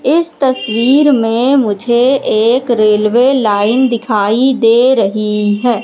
इस तस्वीर में मुझे एक रेलवे लाइन दिखाई दे रहीं हैं।